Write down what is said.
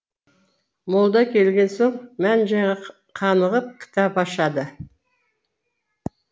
молда келген соң мән жайға қанығып кітап ашады